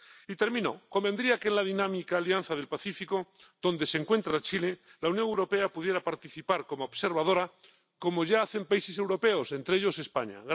Y termino, convendría que en la dinámica Alianza del Pacífico, donde se encuentra Chile, la Unión Europea pudiera participar como observadora, como ya hacen países europeos, entre ellos España.